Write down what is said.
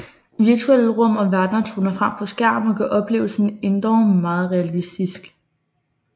Virtuelle rum og verdener toner frem på skærmen og gør oplevelsen endog meget realistisk